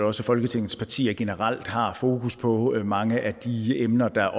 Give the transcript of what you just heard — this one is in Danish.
også folketingets partier generelt har fokus på mange af de emner der